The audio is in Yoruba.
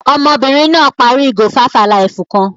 Ọmọbìnrin náà parí ìgò five-alive kan.